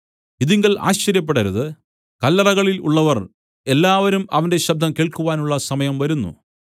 ഇതിങ്കൽ ആശ്ചര്യപ്പെടരുത് കല്ലറകളിൽ ഉള്ളവർ എല്ലാവരും അവന്റെ ശബ്ദം കേൾക്കുവാനുള്ള സമയം വരുന്നു